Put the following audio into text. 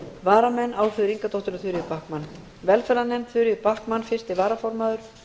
varamenn eru álfheiður ingadóttir og þuríður backman velferðarnefnd þuríður backman fyrsti varaformaður